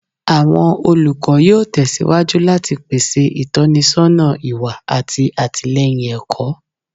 Awọn olukọ yoo tẹsiwaju lati pese itọnisọna iwa ati atilẹyin ẹkọ